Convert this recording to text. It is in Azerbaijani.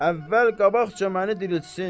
əvvəl qabaqca məni diriltsin.